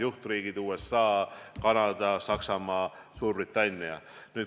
Juhtriigid on USA, Kanada, Saksamaa, Suurbritannia.